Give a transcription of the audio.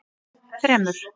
þremur